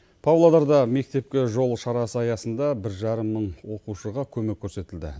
павлодарда мектепке жол шарасы аясында бір жарым мың оқушыға көмек көрсетілді